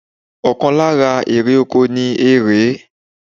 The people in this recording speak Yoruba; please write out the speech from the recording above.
Ọ̀kan lára èrè oko ni erèé